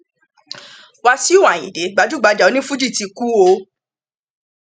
wàsíù ayinde gbajúgbajà onífuji ti kú o